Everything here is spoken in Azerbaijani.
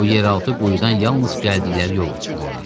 Bu yeraltı quyudan yalnız gəldikləri yolla çıxmaq olardı.